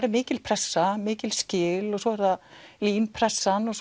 er mikil pressa mikil skil og svo er það LÍN pressan og